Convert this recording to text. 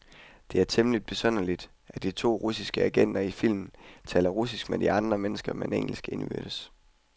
Det er temmeligt besynderligt, at de to russiske agenter i filmen taler russisk med andre mennesker, men engelsk indbyrdes.